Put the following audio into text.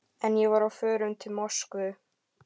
En ég var á förum til Moskvu.